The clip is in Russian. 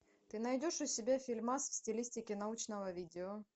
ты найдешь у себя фильмас в стилистике научного видео